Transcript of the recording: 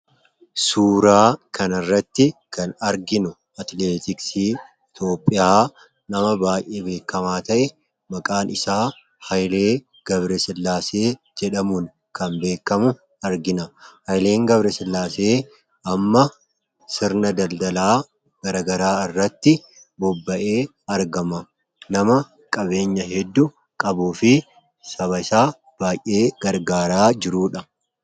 Suuraa kana irratti kan arginu atileetiksi Itoophiyaa nama baay'ee beekamaa ta'e maqaan isaa Haayilee Gabre sillaasee jedhamuun kan beekamu argina Hayileen Gabre sillaasee amma sirna daldalaa garagaraa irratti bobba'ee argama .nama qabeenya hedduu qabuu fi saba isaa baay'ee gargaaraa jiruudha.